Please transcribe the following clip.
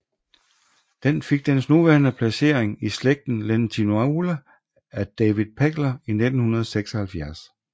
Den fik dens nuværende placering i slægten Lentinula af David Pegler i 1976